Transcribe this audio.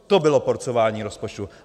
To bylo porcování rozpočtu.